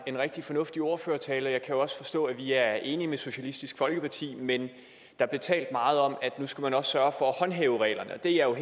en rigtig fornuftig ordførertale og jeg kan jo også forstå at vi er enige med socialistisk folkeparti men der blev talt meget om at nu skulle man også sørge for at håndhæve reglerne og det er jeg